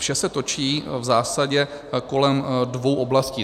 Vše se točí v zásadě kolem dvou oblastí.